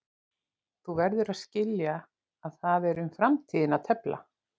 Þú verður að skilja að það er um framtíðina að tefla.